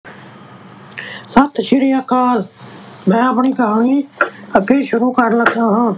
ਸਤਿ ਸ੍ਰੀ ਅਕਾਲ ਮੈਂ ਆਪਣੀ ਕਹਾਣੀ ਅੱਗੇ ਸ਼ੁਰੂ ਕਰਨ ਲੱਗਾ ਹਾਂ।